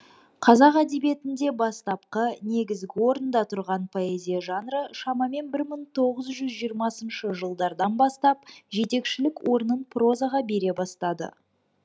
қазақ әдебиетінде бастапқы негізгі орында тұрған поэзия жанры шамамен мың тоғыз жүз жиырмасыншы жылдардан бастап жетекшілік орнын прозаға бере бастады